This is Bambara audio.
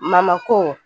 Mamako